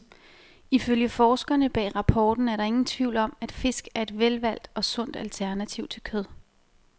Ifølge forskerne bag rapporten er der ingen tvivl om, at fisk er et velvalgt og sundt alternativ til kød.